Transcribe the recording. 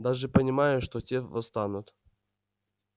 даже понимая что те восстанут